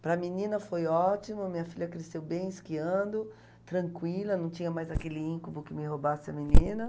Para a menina foi ótimo, minha filha cresceu bem, esquiando, tranquila, não tinha mais aquele íncubo que me roubasse a menina.